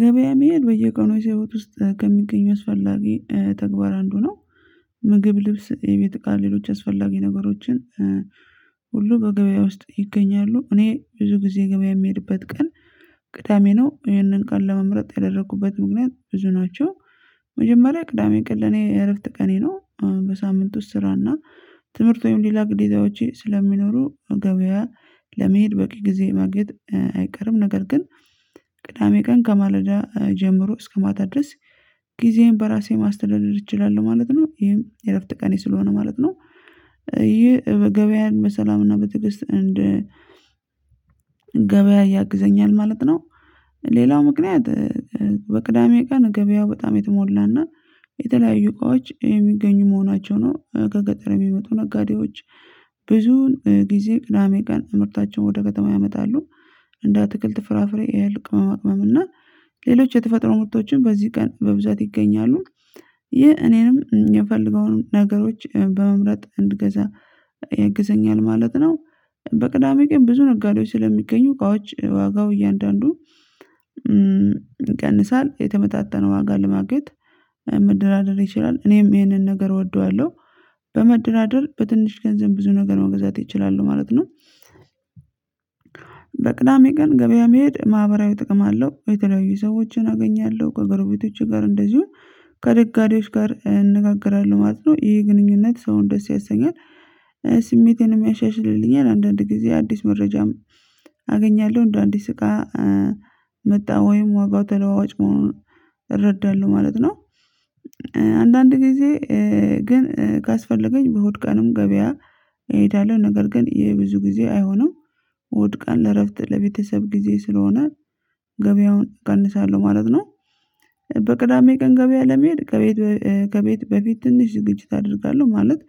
ገበያ መሄድ በየቀኑ የሰው ህይወት ውስጥ ከሚገኙ አስፈላጊ ተግባር አንዱ ነው ምግብ ልብስ የቤት እቃ ሌሎች አስፈላጊ ነገሮችን ሁሉ በገበያ ውስጥ ይገኛሉ እኔ ብዙ ጊዜ ገበያ የሚሄድበት ቀን ቅዳሜ ነው ይሄንን ቀን ለመምረጥ ያደረኩበት ምክንያት ብዙ ናቸው መጀመሪያ ቅዳሜ ቀን ለኔ የእረፍት ቀኔ ነው በሳምንት ውስጥ ስራና ትምህርት ወይም ሌላ ግዴታዎቼ ስለሚኖሩ ገበያ ለመሄድ በቂ ጊዜ ማግኘት አይቀርም ነገር ግን ቅዳሜ ቀን ከማለዳ ጀምሮ እስከ ማታ ድረስ ጊዜዬን በራሴ ማስተዳደር እችላለሁ ማለት ነው ይህም የእረፍት ቀኔ ስለሆነ ማለት ነው ይሄ በገበያ በሰላምና በትግስት እንደ ገበያ ያግዘኛል ማለት ነው ሌላው ምክንያት በቅዳሜ ቀን ገበያው በጣም የተሞላና የተለያዩ እቃዎች የሚገኙ መሆናቸው ነው ከገጠር የሚመጡ ነጋዴዎች ብዙን ጊዜ ቅዳሜ ቀን ምርታቸውን ወደ ከተማ ያመጣሉ እንደ አትክልት ፍራፍሬ ያህል ቅመማ ቅመም እና ሌሎች የተፈጥሮ ምርቶችን በዚህ ቀን በብዛት ይገኛሉ ይህ እኔንም የምፈለገውን ነገሮች በመምረጥ እንድገዛ ያግዘኛል ማለት ነው በቅዳሜ ቀን ብዙ ነጋዴዎች ስለሚገኙ እቃዎች ዋጋው እያንዳንዱ ይቀንሳል የተመጣጣነው ዋጋ ለማግኘት መደራደር ይችላል እኔም ይሄንን ነገር እወደዋለሁ በመደራደር በትንሽ ገንዘብ ብዙ ነገር መግዛት እችላለሁ ማለት ነው በቅዳሜ ቀን ገበያ መሄድ ማህበራዊ ጥቅም አለው የተለያዩ ሰዎችን አገኛለሁ ከገርቤቶች ጋር እንደዚሁም ከነጋዴዎች ጋር እንነጋገራለሁ ማለት ነው ይሄ ግንኙነት ሰውን ደስ ያሰኛል ስሜትን የሚያሻሽልልኛል አንዳንድ ጊዜ አዲስ መረጃም አገኛለሁ እንደው አዲስ እቃ መጣ ወይም ዋጋው ተለዋዋጭ መሆኑን እረዳለሁ ማለት ነው አንዳንድ ጊዜ ግን ካስፈለገኝ በሆድ ቀንም ገበያ እሄዳለሁ ነገር ግን የብዙ ጊዜ አይሆንም እሁድ ቀን ለእረፍት ለቤተሰብ ጊዜ ስለሆነ ገበያውን ቀንሳለሁ ማለት ነው በቅዳሜ ቀን ገበያ ለመሄድ ከቤት ከቤት በፊት ትንሽ ዝግጅት አደርጋለሁ ማለት